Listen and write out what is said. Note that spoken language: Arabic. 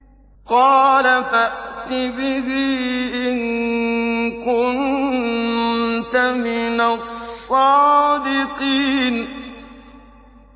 قَالَ فَأْتِ بِهِ إِن كُنتَ مِنَ الصَّادِقِينَ